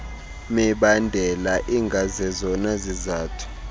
mibandela ingazezona zizathu